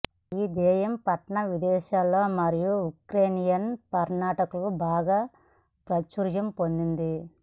ఈ దెయ్యం పట్టణం విదేశీ మరియు ఉక్రేనియన్ పర్యాటకులు బాగా ప్రాచుర్యం పొందింది